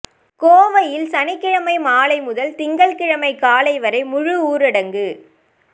கோவையில் சனிக்கிழமை மாலை முதல் திங்கள்கிழமை காலை வரை முழு ஊரடங்கு